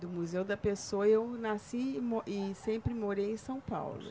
Do Museu da Pessoa, eu nasci e mo, e sempre morei em São Paulo.